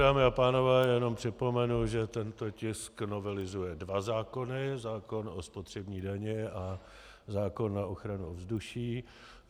Dámy a pánové, jen připomenu, že tento tisk novelizuje dva zákony: zákon o spotřební dani a zákon na ochranu ovzduší.